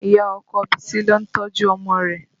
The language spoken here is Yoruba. Ìyá ọkọ Bisi lo ń tọ́jú ọmọ rẹ̀